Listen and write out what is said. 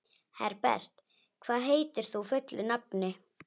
Herbert, hvað heitir þú fullu nafni?